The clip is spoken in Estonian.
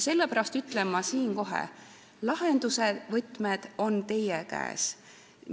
Sellepärast ütlen ma siin kohe: lahenduse võtmed on teie käes.